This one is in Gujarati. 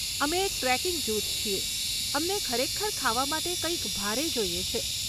અમે એક ટ્રેકિંગ જૂથ છીએ, અમને ખરેખર ખાવા માટે કંઈક ભારે જોઈએ છે.